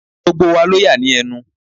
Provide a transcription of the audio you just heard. Gbogbo wa ló yà ní ẹnu.